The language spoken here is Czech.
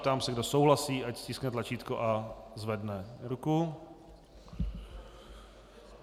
Ptám se, kdo souhlasí, ať stiskne tlačítko a zvedne ruku.